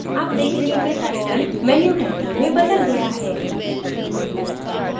आप देखेंगे कि title menu title में बदल गया है